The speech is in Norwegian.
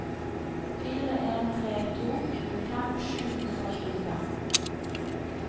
fire en tre to tjuefem sju hundre og tjuefem